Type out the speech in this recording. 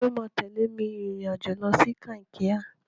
Tani ó máa tẹ̀lé mi rìnrìn-àjò lọ sí Kankia?